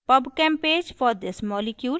pubchem page for this molecule